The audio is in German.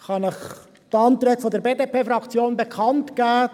Ich kann Ihnen die Anträge der BDP-Fraktion bekanntgeben.